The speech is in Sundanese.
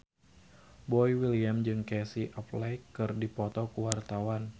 Boy William jeung Casey Affleck keur dipoto ku wartawan